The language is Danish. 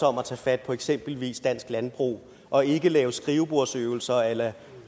om at tage fat på eksempelvis dansk landbrug og ikke lave skrivebordsøvelser a la